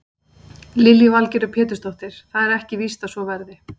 Lillý Valgerður Pétursdóttir: Það er ekki víst að svo verði?